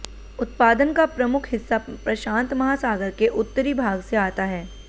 उत्पादन का प्रमुख हिस्सा प्रशांत महासागर के उत्तरी भाग से आता है